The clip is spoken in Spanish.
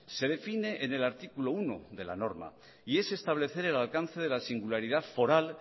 se define en el artículo uno de la norma y es establecer el alcance de la singularidad foral